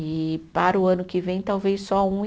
E para o ano que vem, talvez só um e